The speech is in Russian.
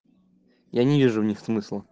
я не вижу в них смысла